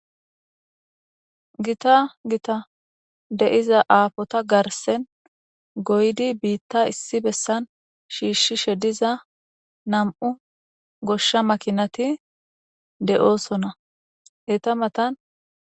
Gita gita deiza aafota garsen goydi biitta issi bessan shiishshishe diza nam'u goshsha makinati de'oosona eta matan.